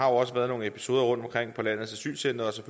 også været nogle episoder rundtomkring på landets asylcentre